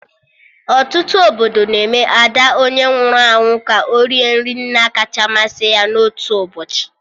Ọtụtụ obodo na-eme Ada onye nwụrụ anwụ ka o rie nri nna kacha masị ya na otu ụbọchị